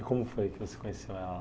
E como foi que você conheceu ela?